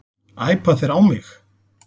Æpa þeir á mig?